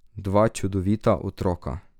Dva čudovita otroka.